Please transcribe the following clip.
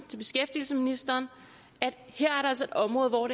til beskæftigelsesministeren er et område hvor